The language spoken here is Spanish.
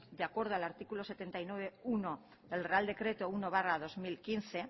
de acuerdo con al artículo setenta y nueve punto uno del real decreto uno barra dos mil quince